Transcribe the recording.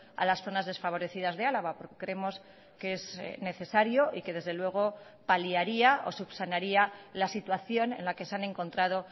a las zonas desfavorecidas de álava porque creemos que es necesario y que desde luego paliaría o subsanaría la situación en la que se han encontrado